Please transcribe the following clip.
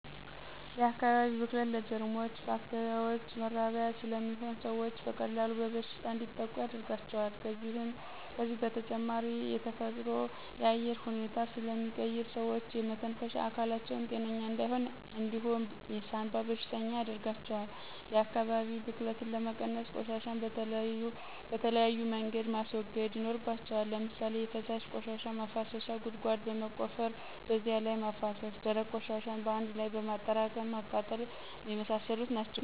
የአካባቢ ብክለት ለጀርሞችና ባክቴሪያዎች መራቢያ ስለሚሆን ሰዎች በቀላሉ በበሽታ እንዲጠቁ ያደርጋቸዋል ከዚህ በተጨማሪ የተፈጥሮን የአየር ሁኔታ ስለሚቀይር ሰዎች የመተንፈሻ አካላቸው ጤነኛ እንዳይሆን እንዲሁም የሳንባ በሽተኛ ያርጋቸዋል። የአካባቢ ብክለትን ለመቀነስ፦ ቆሻሻን በተለያዩ መንገድ ማስወገድ ይኖርባቸዋል። ለምሳሌ የፈሳሽ ቆሻሻ ማፋሰሻ ጉድጓድ በመቆፈር በዚያ ላይ ማፋሰስ፣ ደረቅ ቆሻሻን በአንድ ላይ በማጠራቀም ማቃጠል የመሳሰሉት ናቸው